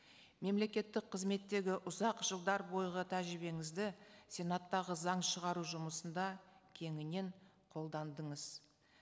мемлекеттік қызметтегі ұзақ жылдар бойғы тәжірибеңізді сенаттағы заң шығару жұмысында кеңінен қолдандыңыз